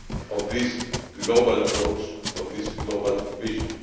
of this global approach, of this global vision.